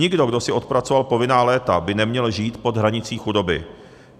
Nikdo, kdo si odpracoval povinná léta, by neměl žít pod hranicí chudoby.